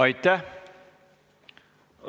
Aitäh!